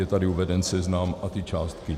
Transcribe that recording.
Je tady uveden seznam a ty částky.